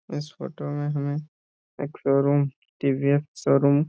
इस फोटो में हमें एक शोरूम टी.वी.एस. शोरूम --